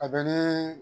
A bɛ nii